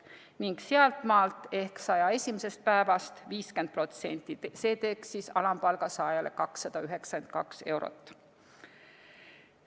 Ning sealtmaalt ehk 101. päevast 50%, see teeks alampalga saajale 292 eurot.